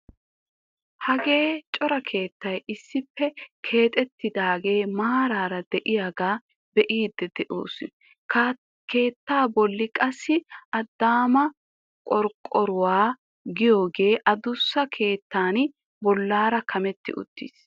Hagee cora keettay issippe keexettidagee maarara de'iyaagaa be'idi de'oos, keettaa bolli qassi adaama qorqqoruwaa giyoogee adussa keettan bollaara kametti uttiis.